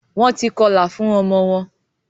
Wón tí kọla fun omo won